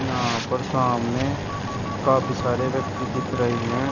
यहां पर सामने काफी सारे व्यक्ति दिख रहे हैं।